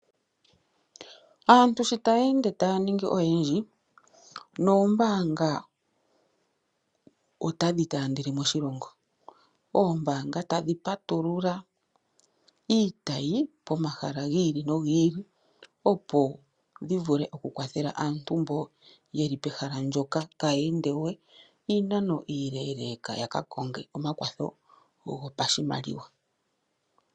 Aantu sho taya ende taya ningi oyendji, noombanga otadhi taandele moshilongo. Oombanga tadhi patulula iitayi komahala gili no gili, opo dhi vule oku kwathela aantu mboka yeli pehala mpoka, kaya ende we iinano iileleka yakakonge omakwatho gopashimaliwa